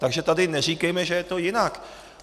Takže tady neříkejme, že je to jinak.